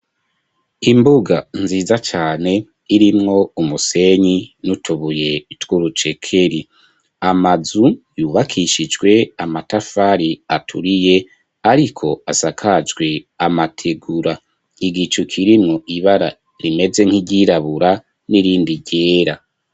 Imbuga nziza cane irimwo umusenyi n'utubuye tw'urucekeri amazu yubakishijwe amatafari aturiye ariko asakajwi amategura igicukirimwo ibara nimeze nk'igirabura n'irindi ryera.